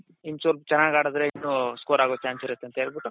ಇನ್ನ್ ಚೂರ್ ಚೆನ್ನಾಗ್ ಆಡಿದ್ರೆ score ಆಗೋ chance ಇರುತ್ತೆ ಅಂತ ಹೇಳ್ಬಿಟ್ಟು